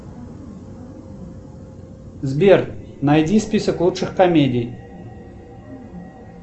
сбер найди список лучших комедий